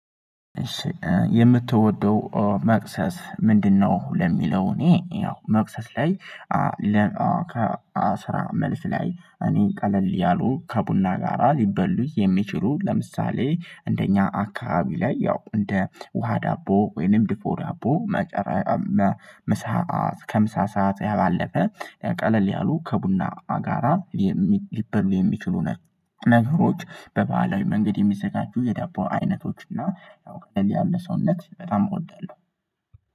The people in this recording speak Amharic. የምትወደው መክሰስ ምንድነው? ለሚለው እኔ ያው መክሰስ ላይ ከ ለአስራ መልስ ላይ እኔን ቀለል ያሉ ከቡና ጋራ ሊበሉ የሚችሉ ለምሳሌ እንደኛ አካባቢ ላይ ያው እንደ ውሃ ዳቦ ወይም ድፎ ዳቦ መሳ መሰአት ከምሳ ሰዓት ያባለፈ ቀለል ያሉ ከቡና ጋራ ሊበል የሚችሉ ነገሮች በባህላዊ መንገድ የሚዘጋጁ የዳቦ አይነቶች እና ያው ቀለል ያለ ሰውነት በጣም እወዳለሁ